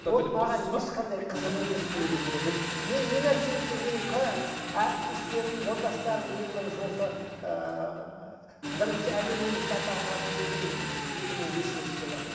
ол маған ешқандай қызық емес негізінде біліп мен не нәрсені де менің әріптестерім жолдастарым ең бірінші осы ыыы бірінші әлем емшісі атағын алып келдім мен екі мың бесінші жылы